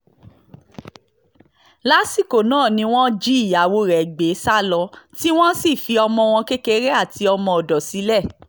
lásìkò náà ni wọ́n jí ìyàwó rẹ̀ gbé sá lọ tí wọ́n sì fi ọmọ wọn kékeré àti ọmọọ̀dọ̀ sílẹ̀